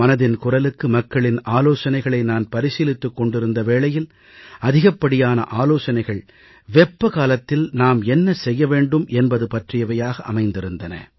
மனதின் குரலுக்கு மக்களின் ஆலோசனைகளை நான் பரிசீலித்துக் கொண்டிருந்த வேளையில் அதிகப்படியான ஆலோசனைகள் வெப்பக்காலத்தில் நாம் என்ன செய்ய வேண்டும் என்பது பற்றியவையாக அமைந்திருந்தன